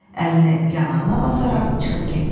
Əlini yanağına basaraq çıxıb getdi.